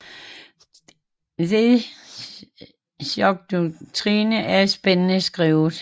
The Shock Doctrine er spændende skrevet